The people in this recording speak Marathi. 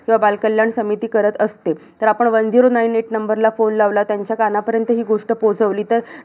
किंवा बालकल्याण समिती करत असते. तर आपण One zero nine eight ला phone लावलात, त्यांच्या कानापर्यंत ही गोष्ट पोहोचवली तर